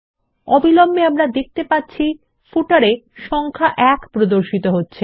অবিলম্বে আমরা দেখতে পাচ্ছি পাদ্লেখতে সংখ্যা ১ প্রদর্শিত হচ্ছে